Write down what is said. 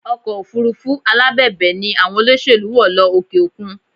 Ọkọ̀ òfurufú alábẹ̀bẹ̀ ni àwọn olóṣèlú wọ̀ lọ òkè òkun